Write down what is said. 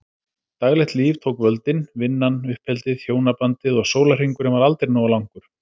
Daglegt líf tók völdin- vinnan, uppeldið, hjónabandið- og sólarhringurinn var aldrei nógu langur.